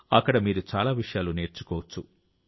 అక్కడ మీరు చాలా విషయాలు నేర్చుకోవచ్చు